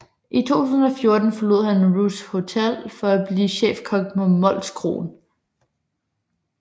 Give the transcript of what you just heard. I 2014 forlod han Ruths Hotel for at blive chefkok på Molskroen